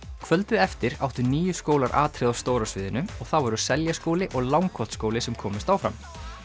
kvöldið eftir áttu níu skólar atriði á stóra sviðinu og það voru Seljaskóli og Langholtsskóli sem komust áfram